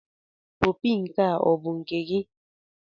Opi nke a ọ̀ bụ nke gị?